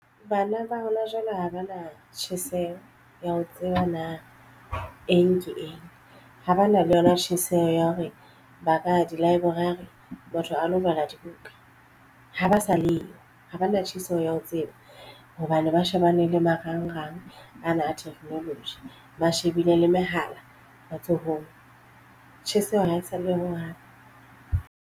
Bana ba hona jwale ha ba na tjheseho ya ho tseba na eng ke eng ha ba na le yona tjheseho ya hore ba ka di-library batho a lo bala dibuka ha ba sa leyo ha ba na tjheseho ya ho tseba hobane ba shebane le marangrang ana a technology ba shebile le mehala matsohong. Tjheseho ha e sa le yo ho hang.